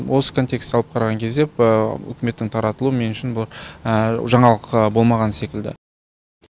осы контексті алып қараған кезде үкіметтің таратылуы мен үшін бұл жаңалық болмаған секілді